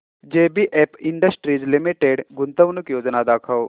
JBF industries limited गुंतवणूक योजना दाखव